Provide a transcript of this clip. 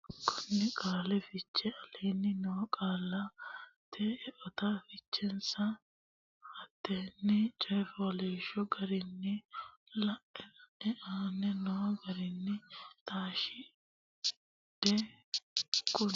konni qaali fiche Aleenni noo qaallata eote fichensa hatenne coy fooliishsho garinni lae la e aane noo garinni taashshidhe konni.